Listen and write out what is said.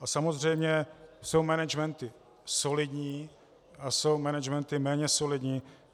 A samozřejmě jsou managementy solidní a jsou managementy méně solidní.